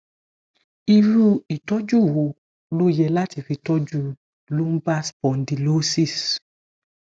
iru itoju wo lo ye lati fi toju lumbar spondylosis